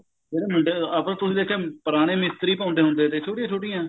ਜਿਹੜੇ ਮੁੰਡੇ ਆਪਾਂ ਤੁਸੀਂ ਦੇਖਿਆ ਹੋਣਾ ਪੁਰਾਣੇ ਮਿਸਤਰੀ ਪਾਉਂਦੇ ਸੀ ਛੋਟੀਆਂ ਛੋਟੀਆਂ